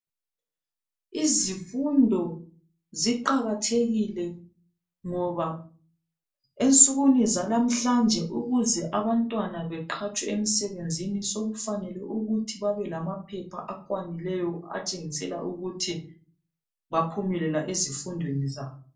Izifundo ziqakathekile ngoba ensukwini zalamhlanje ukuze abantwana beqhatshwe emsebenzi sokufanele ukuthi babelamaphepha akwanileyo atshengisela ukuthi baphumelela ezifundweni zabo.